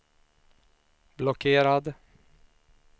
blockerad